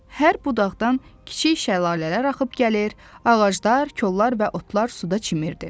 Hər budaqdan kiçik şəlalələr axıb gəlir, ağaclar, kollar və otlar suda çimirdi.